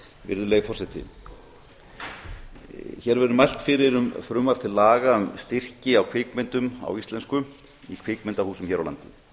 virðulegi forseti hér verður mælt fyrir um frumvarp til laga um styrki á kvikmyndum á íslensku í kvikmyndahúsum hér á landi